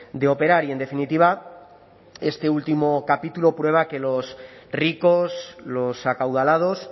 de operar y en definitiva este último capítulo prueba que los ricos los acaudalados